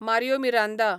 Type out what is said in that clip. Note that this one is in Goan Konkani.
मारयो मिरांदा